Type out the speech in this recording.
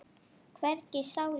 Hvergi sála.